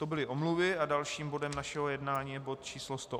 To byly omluvy a dalším bodem našeho jednání je bod číslo